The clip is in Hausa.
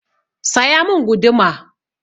Saya mun guduma!